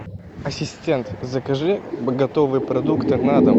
ассистент закажи готовые продукты на дом